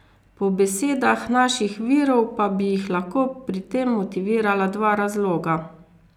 Po besedah naših virov pa bi jih lahko pri tem motivirala dva razloga.